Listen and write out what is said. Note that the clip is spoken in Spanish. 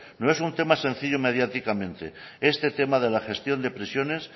no es un tema sencillo mediáticamente este tema de la gestión de prisiones